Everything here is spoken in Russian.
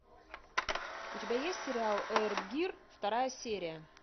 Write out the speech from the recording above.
у тебя есть сериал эйр гир вторая серия